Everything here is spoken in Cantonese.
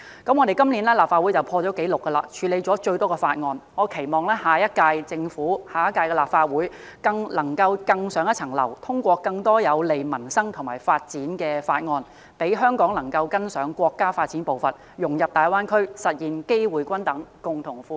今年，我們立法會已破紀錄處理了最多法案，我期望下屆政府和下屆立法會能夠更上一層樓，通過更多有利民生和發展的法案，讓香港能夠跟上國家發展步伐，融入大灣區，實現機會均等，共同富裕。